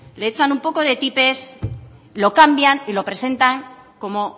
le echan un poco de tipex lo cambian y lo presentan como